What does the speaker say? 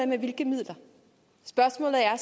med hvilke midler spørgsmålet er